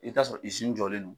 I b'i t'a sɔrɔ izini jɔlen don